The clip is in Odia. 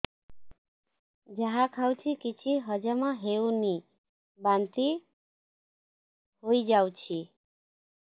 ଯାହା ଖାଉଛି କିଛି ହଜମ ହେଉନି ବାନ୍ତି ହୋଇଯାଉଛି